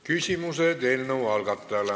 Küsimused eelnõu algatajale.